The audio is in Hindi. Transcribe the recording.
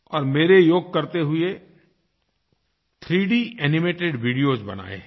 और मेरे योग करते हुए 3D एनिमेटेड वीडियोस बनाए हैं